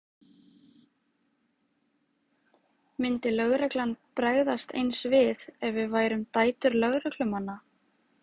Myndi lögreglan bregðast eins við ef við værum dætur lögreglumanna?